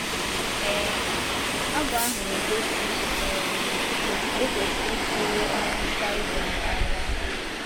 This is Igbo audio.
um Abụ ahụ na-egosi um otú e kwesịrị isi lee ọnwụ Sisera anya.